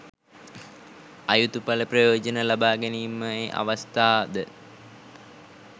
අයුතු පල ප්‍රයෝජන ලබා ගැනීමේ අවස්ථාද